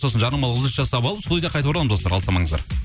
сосын жарнамалық үзіліс жасап алып студияға қайта ораламыз достар алыстамаңыздар